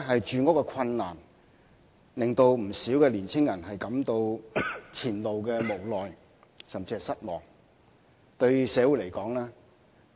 住屋困難的確令不少青年人對前路感到無奈甚至失望。